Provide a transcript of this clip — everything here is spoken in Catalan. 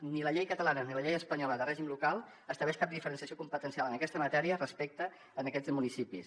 ni la llei catalana ni la llei espanyola de règim local estableixen cap diferenciació competencial en aquesta matèria respecte a aquests municipis